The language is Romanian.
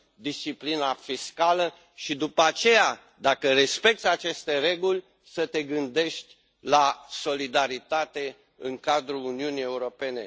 disciplina fiscală și, după aceea, dacă respecți aceste reguli, să te gândești la solidaritate în cadrul Uniunii Europene.